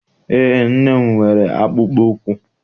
EÉ, nne m nwere akpụkpọụkwụ.